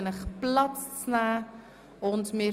Ich bitte Sie, Platz zu nehmen.